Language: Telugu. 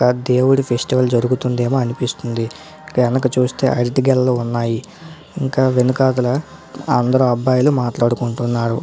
దేవుడి ఫెస్టివల్ జరుగుతుందేమో అనిపిస్తుంది వెనక చూస్తే అరటి గెలలు కనిపిస్తుంది ఇంకా వెనకదలా అందరు అబ్బాయిలు మాట్లాడుకుంటున్నారు.